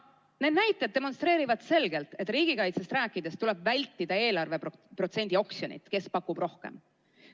Need näitajad demonstreerivad selgelt, et riigikaitsest rääkides tuleb vältida eelarveprotsendi oksjoneid: kes pakub rohkem.